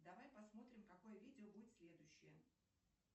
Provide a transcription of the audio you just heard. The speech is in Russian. давай посмотрим какое видео будет следующее